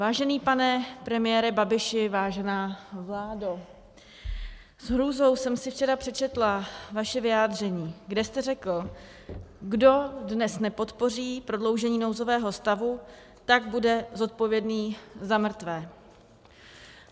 Vážený pane premiére Babiši, vážená vládo, s hrůzou jsem si včera přečetla vaše vyjádření, kde jste řekl: Kdo dnes nepodpoří prodloužení nouzového stavu, tak bude zodpovědný za mrtvé.